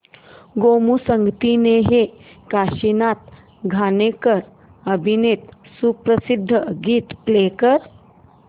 गोमू संगतीने हे काशीनाथ घाणेकर अभिनीत सुप्रसिद्ध गीत प्ले कर